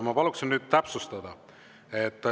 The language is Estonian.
Ma paluksin nüüd täpsustada.